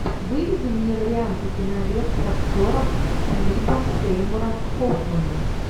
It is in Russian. выведи мне варианты кинолент с актером филиппом сеймуром хоффманом